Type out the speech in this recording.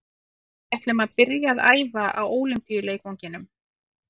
Við ætlum að byrja að æfa á Ólympíuleikvanginum.